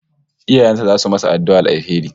Iyayen sa zasu masa addu'ar alheri